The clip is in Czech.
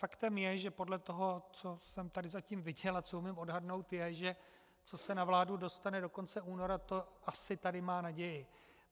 Faktem je, že podle toho, co jsem tady zatím viděl a co umím odhadnout, je, že co se na vládu dostane do konce února, to asi tady má naději.